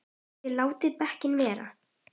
ÞIÐ LÁTIÐ DEKKIN BARA VERA!